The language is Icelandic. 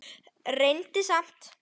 Reyndi samt.